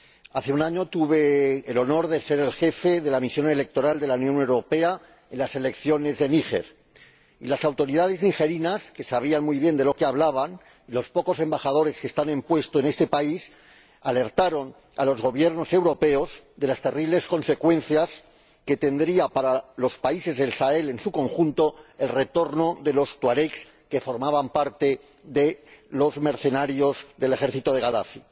Hace un año tuve el honor de ser el jefe de la misión electoral de la Unión Europea en las elecciones de Níger y las autoridades nigerinas que sabían muy bien de lo que hablaban y los pocos embajadores con puesto en este país alertaron a los Gobiernos europeos de las terribles consecuencias que tendría para los países del Sahel en su conjunto el retorno de los tuaregs que formaban parte de los mercenarios del ejército de Gadafi.